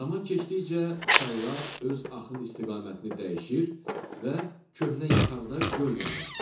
Zaman keçdikcə çaylar öz axın istiqamətini dəyişir və köhnə yataqda göl yaranır.